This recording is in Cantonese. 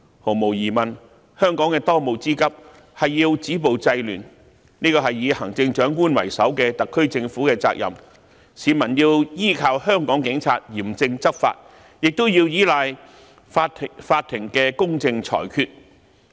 毫無疑問，香港的當務之急是要止暴制亂，這是以行政長官為首的特區政府的責任，市民依靠香港警察嚴正執法，亦依賴法庭的公正裁決。